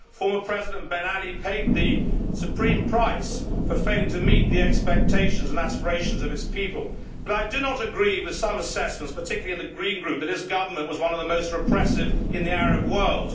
Former President Ben Ali paid the supreme price for failing to meet the expectations and aspirations of his people, but I do not agree with some assessments, particularly in the Green Group, that his government was one of the most repressive in the Arab world.